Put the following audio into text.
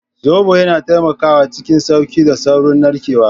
Zobo yana taimakawa cikin sauƙi da saurin narkewa.